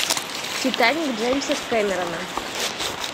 титаник джеймса кэмерона